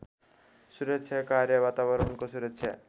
सुरक्षा कार्यवातावरणको सुरक्षा